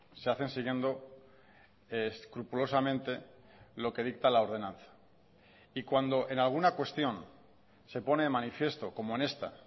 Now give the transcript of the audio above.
se hacen siguiendo escrupulosamente lo que dicta la ordenanza y cuando en alguna cuestión se pone de manifiesto como en esta